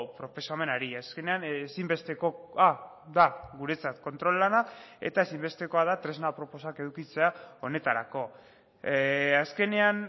proposamenari azkenean ezinbestekoa da guretzat kontrol lana eta ezinbestekoa da tresna aproposak edukitzea honetarako azkenean